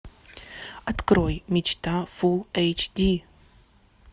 открой мечта фулл эйч ди